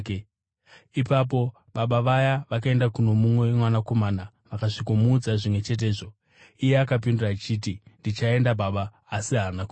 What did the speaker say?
“Ipapo baba vaya vakaenda kuno mumwe mwanakomana vakasvikomuudza zvimwe chetezvo. Iye akapindura achiti, ‘Ndichaenda, baba’ asi haana kuenda.